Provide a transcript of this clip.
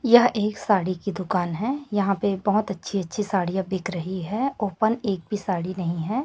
यह एक साड़ी की दुकान है यहां पे बहोत अच्छी अच्छी साड़ियां बिक रही है ओपन एक भी साड़ी नहीं है।